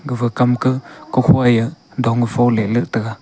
gaga komka kokhui ya dongfu let taga.